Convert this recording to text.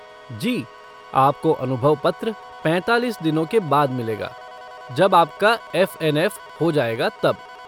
जी, आपको अनुभव पत्र पैंतालीस दिनों के बाद मिलेगा, जब आपका एफ़ एन एफ़ हो जाएगा तब।